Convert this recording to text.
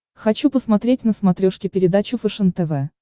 хочу посмотреть на смотрешке передачу фэшен тв